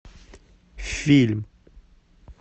фильм